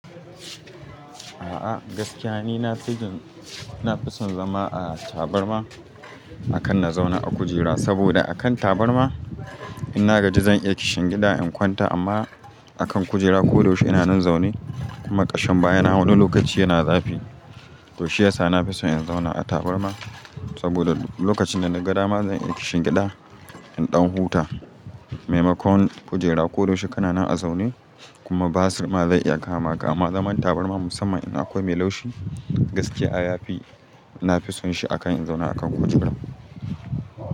A'a gaskiya ni nafijin, na fi son zama a tabarma akan na zauna a kujera. Saboda a kan tabarma ina gaji zan iya kishin gida in kwanta amma akan kujera ko da yaushe ina nan zaune kuma ƙashin baya na wani lokaci yana zafi. To shi yasa na fi son in zauna a tabarma saboda lokacin da na gada ma zan iya kishin gida in ɗan huta. Maimakon kujera ko da yaushe kana nan a zaune kuma basur ma zai iya kama ka. Amma zaman tabarma musamman in akwai mai laushi gaskiya ya fi, na fi son shi akan in zauna a kan kujera.